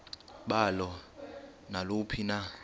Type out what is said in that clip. balo naluphi na